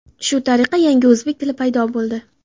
Shu tariqa yangi o‘zbek tili paydo bo‘ldi.